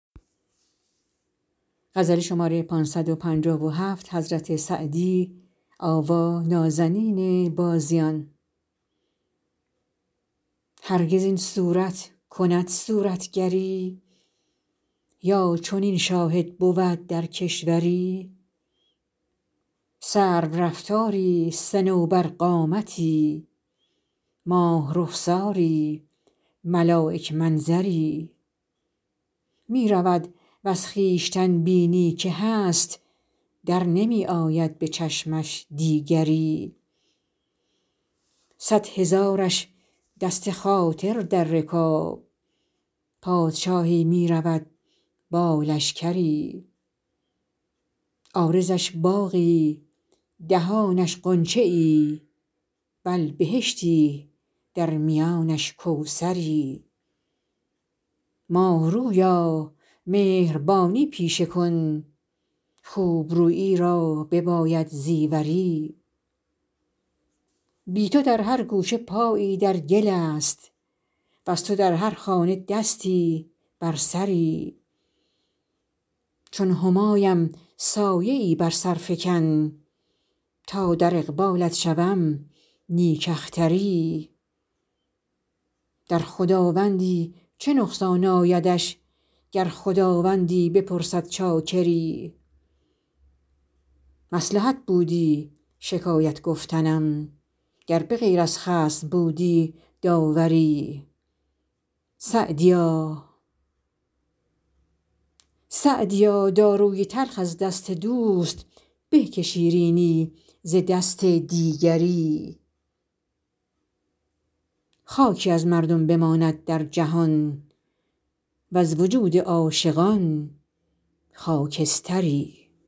هرگز این صورت کند صورتگری یا چنین شاهد بود در کشوری سرورفتاری صنوبرقامتی ماه رخساری ملایک منظری می رود وز خویشتن بینی که هست در نمی آید به چشمش دیگری صد هزارش دست خاطر در رکاب پادشاهی می رود با لشکری عارضش باغی دهانش غنچه ای بل بهشتی در میانش کوثری ماه رویا مهربانی پیشه کن خوب رویی را بباید زیوری بی تو در هر گوشه پایی در گل است وز تو در هر خانه دستی بر سری چون همایم سایه ای بر سر فکن تا در اقبالت شوم نیک اختری در خداوندی چه نقصان آیدش گر خداوندی بپرسد چاکری مصلحت بودی شکایت گفتنم گر به غیر از خصم بودی داوری سعدیا داروی تلخ از دست دوست به که شیرینی ز دست دیگری خاکی از مردم بماند در جهان وز وجود عاشقان خاکستری